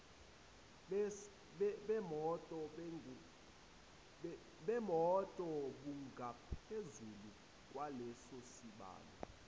bemoto bungaphezulu kwalesosibalo